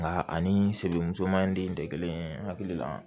Nka ani sebe musoman in de kelen hakili la